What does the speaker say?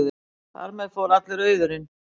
Þar með fór allur auðurinn.